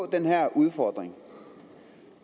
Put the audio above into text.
den her udfordring